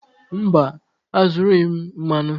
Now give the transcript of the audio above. Mba, azụrụghị m mmanụ.